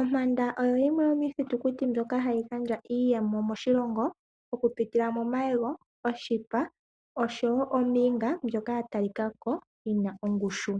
Ompanda oyo yimwe yomiithitukuti mbyoka hayi gandja iiyemo moshilongo okupitila momayego, oshipa osho wo ooniga mbyoka ya talika ko yina ongushu.